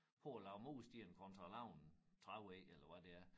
På at lave mursten kontra lave en trævej eller hvad det er